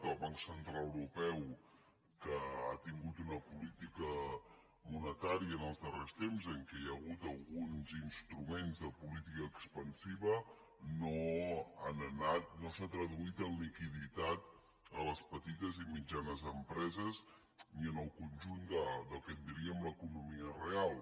el banc central europeu que ha tingut una política monetària els darrers temps en què hi ha hagut alguns instruments de política expansiva no s’ha traduït en liquiditat a les petites i mitjanes empreses ni en el conjunt del que en diríem l’economia real